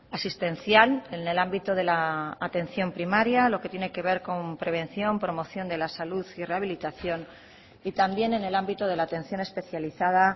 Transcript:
asistencial en el ámbito de la atención primaria lo que tiene que ver con prevención promoción de la salud y rehabilitación y también en el ámbito de la atención especializada